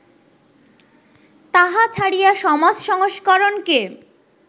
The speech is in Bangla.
তাহা ছাড়িয়া, সমাজ সংস্করণকে